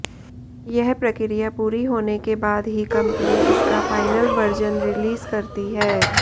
यह प्रक्रिया पूरी होने के बाद ही कंपनी इसका फाइनल वर्जन रिलीज करती है